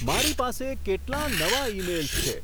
મારી પાસે કેટલાં નવા ઇમેઇલ્સ છે